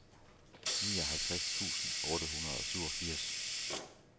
nioghalvtreds tusind otte hundrede og syvogfirs